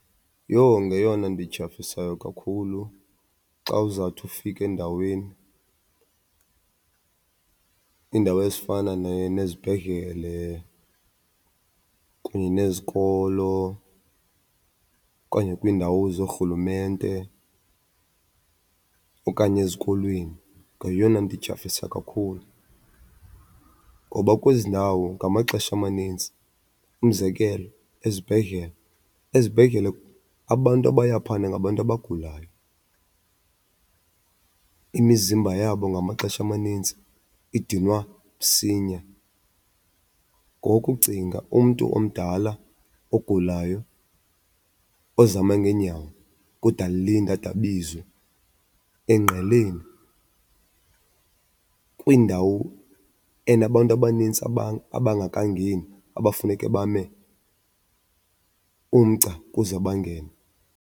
Yho ngeyona nto ityhafisayo kakhulu xa uzawuthi ufika endaweni, iindawo ezifana nezibhedlele kunye nezikolo okanye kwiindawo zoorhulumente okanye ezikolweni, ngeyona nto ityhafisa kakhulu. Ngoba kwezi ndawo ngamaxesha amaninzi, umzekelo ezibhedlele, ezibhedlele abantu abaya phayana ngabantu abagulayo, imizimba yabo ngamaxesha amanintsi idinwa msinya. Ngoku cinga umntu omdala ogulayo ozama ngeenyawo kude alinde ade abizwe engqeleni, kwindawo enabantu abanintsi abangekangeni abafuneke bame umgca ukuze bangene.